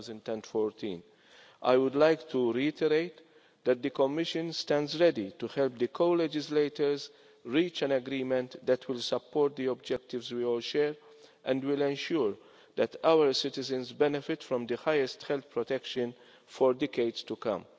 2014. I would like to reiterate that the Commission stands ready to help the co legislators reach an agreement that will support the objectives we all share and will ensure that our citizens benefit from the highest health protection for decades to come.